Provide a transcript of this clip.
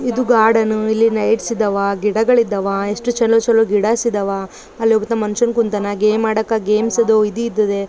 ಇದು ಗಾರ್ಡನು ಇಲ್ಲಿ ಲೈಟ್ಸ್ಗಳಿದ್ದಾವ ಗಿಡಗಳಿದ್ದಾವ ಎಷ್ಟು ಚಲೋ ಚಲೋ ಗಿಡಾಸ್ ಇದ್ದಾವ ಅಲ್ಲೊಬ್ಬ ಮನುಷ್ಯನ್ ಕುಂತನ್ನ ಗೇಮ್ಸ್ ಆಡಕ್ಕೆ ಗೇಮ್ಸ್ಸಿದ್ದು ಇದು ಇದ್ದದ್ದೆ .